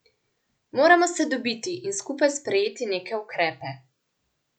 Moramo se dobiti in skupaj sprejeti neke ukrepe.